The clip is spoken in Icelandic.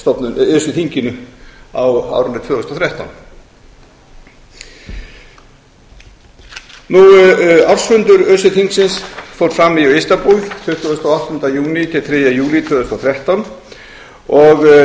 hjá öse þinginu á árinu tvö þúsund og þrettán ársfundur öse þingsins fór fram í istanbúl tuttugasta og áttunda júní til þriðja júlí tvö þúsund og þrettán